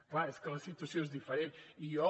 clar és que la situació és diferent i jo